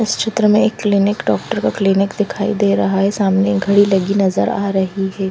इस चित्र में एक क्लिनिक डॉक्टर का क्लिनिक दिखाई दे रहा है सामने घड़ी लगी नज़र आ रही है।